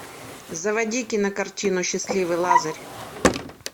заводи кинокартину счастливый лазарь